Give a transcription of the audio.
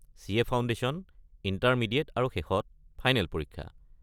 CA foundation, intermediate আৰু শেষত final পৰীক্ষা।